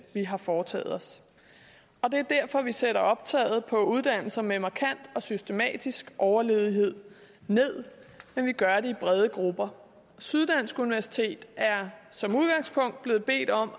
har foretaget os og det er derfor vi sætter optaget på uddannelser med markant og systematisk overledighed ned men vi gør det i brede grupper syddansk universitet er som udgangspunkt blevet bedt om